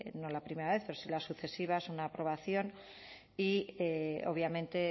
no la primera vez pero si las sucesivas una aprobación y obviamente